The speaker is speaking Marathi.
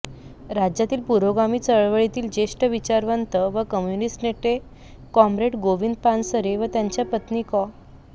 राज्यातील पुरोगामी चळवळीतील ज्येष्ठ विचारवंत व कम्युनिस्ट नेते कॉम्रेड गोविंद पानसरे व त्यांच्या पत्नी कॉ